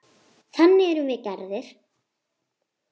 Þannig erum við gerðir.